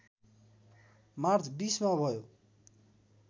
March २० मा भयो